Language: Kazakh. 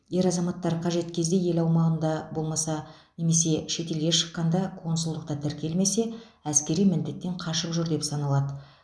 ер азаматтар қажет кезде ел аумағында болмаса немесе шетелге шыққанда консулдықта тіркелмесе әскери міндеттен қашып жүр деп саналады